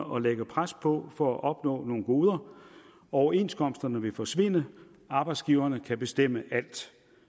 og lægge pres på for at opnå nogle gode overenskomsterne vil forsvinde og arbejdsgiverne kan bestemme alt